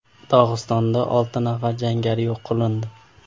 Dog‘istonda olti nafar jangari yo‘q qilindi.